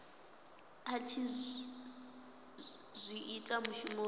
a tshi zwi ita mushumoni